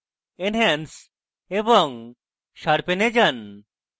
enhance এবং sharpen এ যান